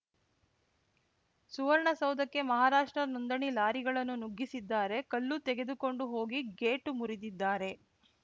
ಸುವರ್ಣಸೌಧಕ್ಕೆ ಮಹಾರಾಷ್ಟ್ರ ನೋಂದಣಿ ಲಾರಿಗಳನ್ನು ನುಗ್ಗಿಸಿದ್ದಾರೆ ಕಲ್ಲು ತೆಗೆದುಕೊಂಡು ಹೋಗಿ ಗೇಟು ಮುರಿದಿದ್ದಾರೆ